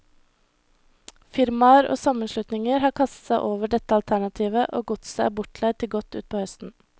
Firmaer og sammenslutninger har kastet seg over dette alternativet, og godset er bortleid til godt utpå høsten.